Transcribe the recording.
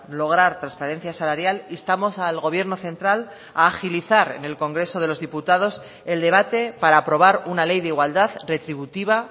lograr transparencia salarial instamos al gobierno central a agilizar en el congreso de los diputados el debate para aprobar una ley de igualdad retributiva